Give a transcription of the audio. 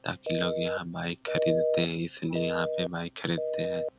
ताकी लोग यहाँ बाइक खरीदते है इसलिए यहाँ पे बाइक खरीदते हैं।